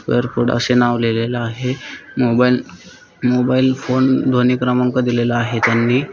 असे नाव लिहलेल आहे मोबाइल मोबाइल फोन ध्वनी क्रमांक दिलेल आहे त्यांनी.